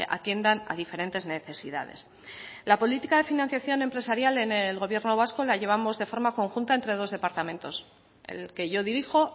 atiendan a diferentes necesidades la política de financiación empresarial en el gobierno vasco la llevamos de forma conjunta entre dos departamentos el que yo dirijo